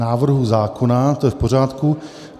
Návrhu zákona to je v pořádku.